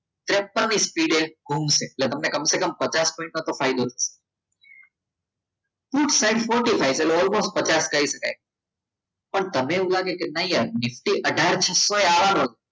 તેપનની સ્પીડે ગુમશે એ તમને પચાસ પોઈન્ટ નો ફાયદો થશે ખૂબસાઈટ પોતે થાય છે almost પચાસ પણ તમને એવું લાગે કે નહીં યાર નિફ્ટી અથાર આવવાનો